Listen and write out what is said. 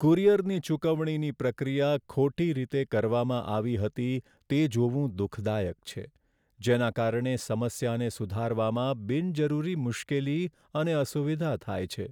કુરિયરની ચુકવણીની પ્રક્રિયા ખોટી રીતે કરવામાં આવી હતી તે જોવું દુઃખદાયક છે, જેના કારણે સમસ્યાને સુધારવામાં બિનજરૂરી મુશ્કેલી અને અસુવિધા થાય છે.